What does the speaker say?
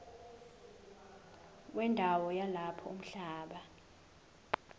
wendawo yalapho umhlaba